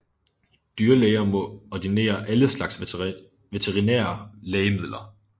Dyrlæger må ordinere alle slags veterinære lægemidler